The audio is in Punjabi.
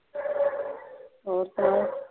ਹੋਰ ਸੁਣਾਉ